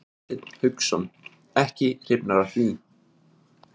Hafsteinn Hauksson: Ekki hrifnar af því?